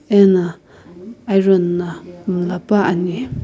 ena iron na mlla puani.